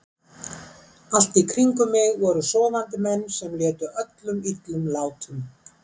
Allt í kring um mig voru sofandi menn sem létu öllum illum látum.